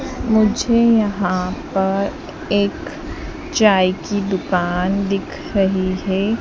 मुझे यहां पर एक चाय की दुकान दिख रही है।